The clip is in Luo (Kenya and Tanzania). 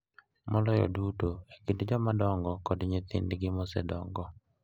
Maloyo duto e kind jomadongo kod nyithindgi mosedongo .